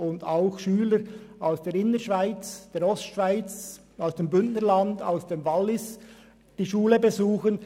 Sie wird auch von Schülern aus der Innerschweiz, aus der Ostschweiz, aus dem Bündnerland und aus dem Wallis besucht.